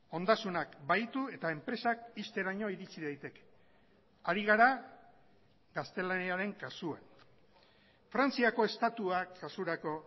ondasunak bahitu eta enpresak ixteraino iritsi daiteke hari gara gaztelaniaren kasuan frantziako estatuak kasurako